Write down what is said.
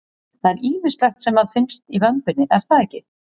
Það er ýmislegt sem að finnst í vömbinni er það ekki?